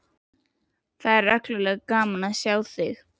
Það er reglulega gaman að sjá þig!